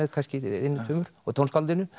einum tveimur og tónskáldinu